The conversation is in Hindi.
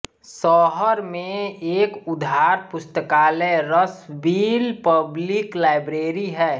शहर में एक उधार पुस्तकालय रशविल पब्लिक लाइब्रेरी है